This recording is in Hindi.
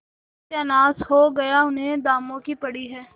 सत्यानाश हो गया इन्हें दामों की पड़ी है